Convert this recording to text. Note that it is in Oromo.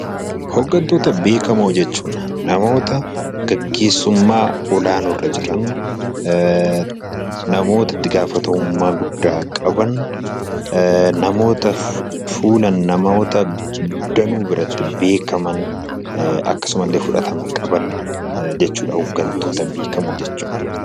Hooggantoota beekamoo jechuun namoota gaggeessummaa olaanoorra jiran namoota itti gaafatamummaa guddaa qaban namoota nama danuu biratti beekaman akkasumallee fudhatama qaban jechuudha hooggantoota beekamoo jechuun